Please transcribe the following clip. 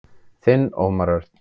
Þinn Ómar Örn.